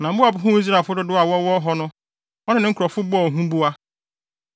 na Moab huu Israelfo dodow a wɔwɔ hɔ no, ɔne ne nkurɔfo bɔɔ huboa.